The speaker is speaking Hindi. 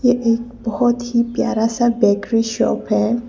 ये एक बहोत ही प्यारा सा बेकरी शॉप है।